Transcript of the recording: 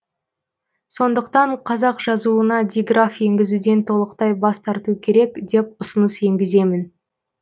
сондықтан қазақ жазуына диграф енгізуден толықтай бас тарту керек деп ұсыныс енгіземін